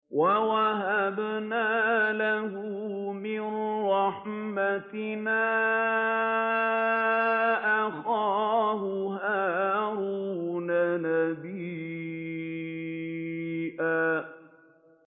وَوَهَبْنَا لَهُ مِن رَّحْمَتِنَا أَخَاهُ هَارُونَ نَبِيًّا